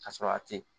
Ka sɔrɔ a te yen